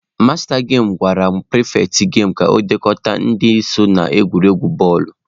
Masta gemụ gwara pịrịfetị gemu ka ọ dekọta aha ndị so n'egwuregwu bọọlụ.